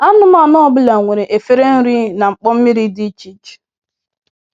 Anụmanụ ọ bụla nwere efere nri na mkpọ mmiri dị iche iche.